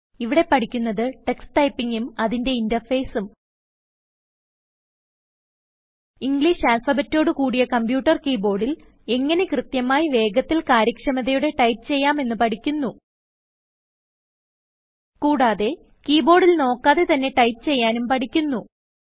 ഇവിടെ പഠിക്കുന്നത് ടക്സ് Typingഉം അതിന്റെ ഇന്റർഫേസ് ഉം ഇംഗ്ലീഷ് ആൽഫബെറ്റോട് കൂടിയ കമ്പ്യൂട്ടർ കീ ബോർഡിൽ എങ്ങനെ കൃത്യമായി വേഗത്തിൽ കാര്യക്ഷമതയോടെ ടൈപ്പ് ചെയ്യാം എന്ന് പഠിക്കുന്നു കുടാതെ കീ ബോർഡിൽ നോക്കാതെ തന്നെ ടൈപ്പ് ചെയ്യാനും പഠിക്കുന്നു